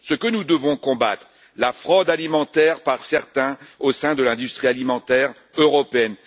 Nous devons combattre la fraude alimentaire par certains au sein de l'industrie alimentaire européenne.